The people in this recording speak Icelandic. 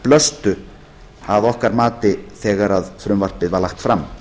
blöstu að okkar mati þegar frumvarpið var lagt fram